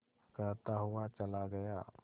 कहता हुआ चला गया